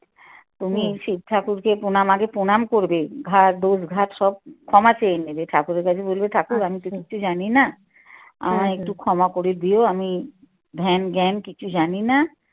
তুমি শিব ঠাকুরকে পনাম আগে পণাম করবে দোষ সব ক্ষমা চেয়ে নেবে ঠাকুরের কাছে বলবে ঠাকুর আমি তো কিচ্ছু জানি না আমায় একটু ক্ষমা করে দিও আমি ধ্যান জ্ঞান কিছু জানি না